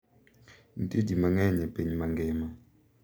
Nitie ji mang’eny e piny mangima